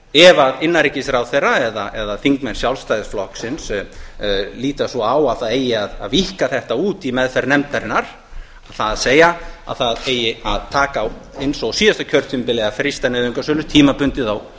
ef innanríkisráðherra eða þingmenn sjálfstæðisflokksins líta svo á að það eigi að víkka þetta út í meðferð nefndarinnar það er að það eigi að taka á eins og á síðasta kjörtímabili að frysta nauðungarsölur tímabundið